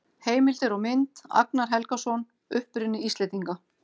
Heimildir og mynd: Agnar Helgason: Uppruni Íslendinga.